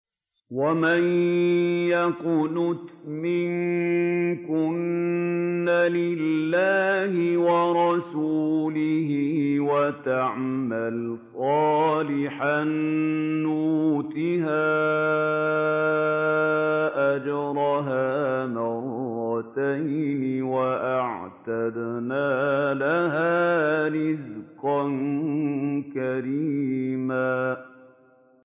۞ وَمَن يَقْنُتْ مِنكُنَّ لِلَّهِ وَرَسُولِهِ وَتَعْمَلْ صَالِحًا نُّؤْتِهَا أَجْرَهَا مَرَّتَيْنِ وَأَعْتَدْنَا لَهَا رِزْقًا كَرِيمًا